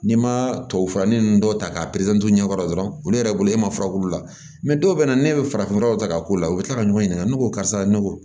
N'i ma tubabufurannin ninnu dɔw ta k'a ɲɛkɔrɔ dɔrɔn olu yɛrɛ bolo e ma fura k'u la dɔw bɛ na ne bɛ farafinnɔgɔ ta k'a k'u la u bɛ tila ka ɲɔgɔn ɲininka ne ko karisa ne ko